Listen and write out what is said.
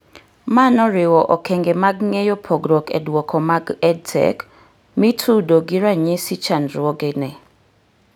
Ma noriwo okenge mag ng'eyo pogruok e duoko mag EdTech mitudo gi ranyisi chandruoge ne